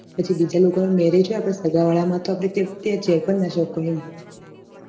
પછી બીજા લોકો ના marriage હોય આપના સગા વાળા માં તો આપને ત્યાં જઈ પણ ના શકો એમ